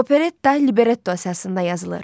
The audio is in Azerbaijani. Operetta libretto əsasında yazılır.